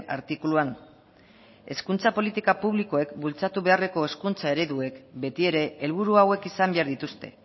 artikuluan hezkuntza politika publikoek bultzatu beharreko hezkuntza ereduek beti ere helburu hauek izan behar dituzte